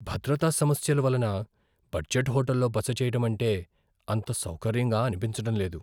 భద్రతా సమస్యల వలన బడ్జెట్ హోటల్లో బస చేయటం అంటే అంత సౌకర్యంగా అనిపించడం లేదు.